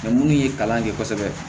minnu ye kalan kɛ kosɛbɛ